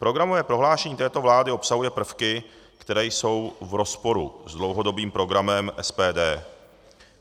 Programové prohlášení této vlády obsahuje prvky, které jsou v rozporu s dlouhodobým programem SPD.